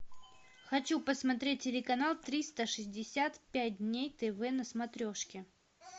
хочу посмотреть телеканал триста шестьдесят пять дней тв на смотрешке